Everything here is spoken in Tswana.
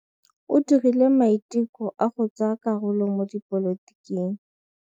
O dirile maitekô a go tsaya karolo mo dipolotiking.